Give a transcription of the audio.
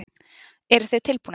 Eruð þið tilbúnir?